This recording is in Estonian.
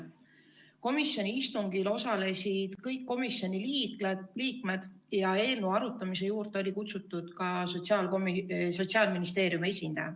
Komisjoni istungil osalesid kõik komisjoni liikmed ja eelnõu arutamise juurde oli kutsutud ka Sotsiaalministeeriumi esindaja.